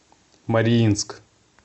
мариинск